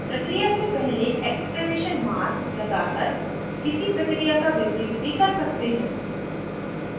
प्रक्रिया से पहले exclamation mark लगाकर किसी प्रक्रिया का विपरीत भी कर सकते हैं